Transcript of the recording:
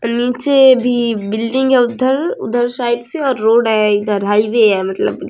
नीचे भी बिल्डिंग हैउधर-उधर साइड से रोड है इधर हाईवे है मतलब --